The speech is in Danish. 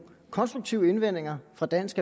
konstruktive indvendinger fra dansk